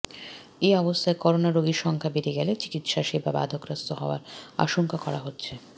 এ অবস্থায় করোনা রোগীর সংখ্যা বেড়ে গেলে চিকিৎসাসেবা বাধাগ্রস্ত হওয়ার আশঙ্কা করা হচ্ছে